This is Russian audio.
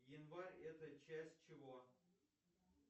январь это часть чего